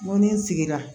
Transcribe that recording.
N ko ni n sigira